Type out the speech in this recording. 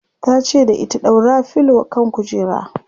tace da ita"ɗaura filo kan kujera!"